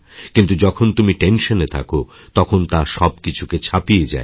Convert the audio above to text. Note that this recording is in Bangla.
কিন্তু যখনতুমি টেনশন এ থাকো তখন তাসবকিছুকে ছাপিয়ে যায়